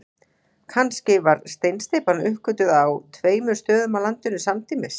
Kannski var steinsteypan uppgötvuð á tveimur stöðum á landinu samtímis.